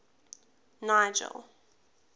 nigel